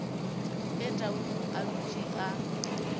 ge tau a dutše a